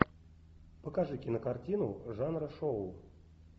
покажи кинокартину жанра шоу